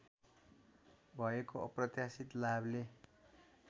भएको अप्रत्याशित लाभले